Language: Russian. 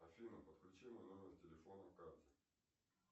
афина подключи мой номер телефона к карте